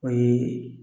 O ye